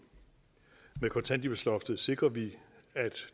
med kontanthjælpsloftet sikrer vi at